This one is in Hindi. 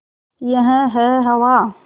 यह है हवा